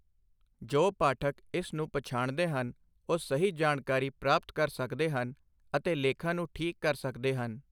ਜੋ ਪਾਠਕ ਇਸ ਨੂੰ ਪਛਾਣਦੇ ਹਨ ਉਹ ਸਹੀ ਜਾਣਕਾਰੀ ਪ੍ਰਾਪਤ ਕਰ ਸਕਦੇ ਹਨ ਅਤੇ ਲੇਖਾਂ ਨੂੰ ਠੀਕ ਕਰ ਸਕਦੇ ਹਨ।